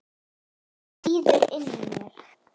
Það sýður inni í mér.